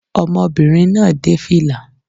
Ọmọbìnrin náà dé fìlà